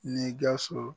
Ni gawusu